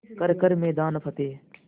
कर हर मैदान फ़तेह